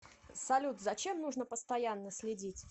салют за чем нужно постоянно следить